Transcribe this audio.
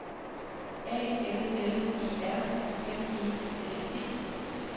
A L L E R M E S T